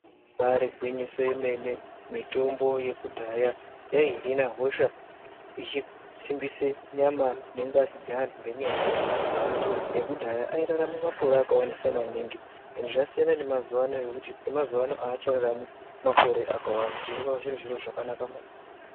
Ibaari gwinyiso yemene mitombo yekudhaya yaihina hosha ichisimbise nyama nengazi dzenahu ngenyaya yekuti andu ekudhaya airarame makore akawandisa maningi zvasiyana nemazuva ano zvekuti emazuvano avachararami makore akawanda zvinova zviro zvakanaka maningi.